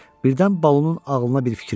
Birdən Balunun ağlına bir fikir gəldi.